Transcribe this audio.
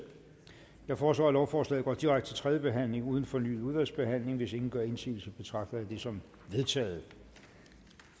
jeg foreslår at lovforslaget går direkte til tredje behandling uden fornyet udvalgsbehandling hvis ingen gør indsigelse betragter jeg det som vedtaget